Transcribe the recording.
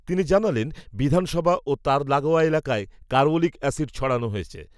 তিনি জানালেন, বিধানসভা ও তার লাগোয়া এলাকায়, কার্বলিক অ্যাসিড, ছড়ানো হয়েছে